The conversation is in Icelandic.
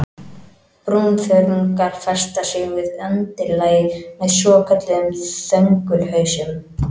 Brúnþörungar festa sig við undirlagið með svokölluðum þöngulhausum.